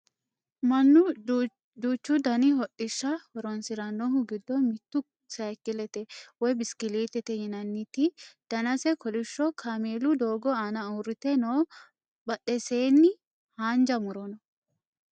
mannu duuchu dani hodhishsha horonsirannohu giddo mittu sayiikkilete woye bishkilliitete yinanniti danase kolishsho kameelu doogo aana uurrite no badheseenni haanja muro no